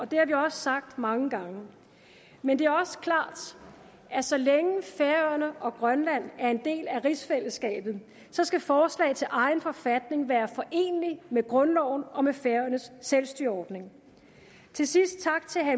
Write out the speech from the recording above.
det har vi også sagt mange gange men det er også klart at så længe færøerne og grønland er en del af rigsfællesskabet skal forslag til egen forfatning være forenelige med grundloven og med færøernes selvstyreordning til sidst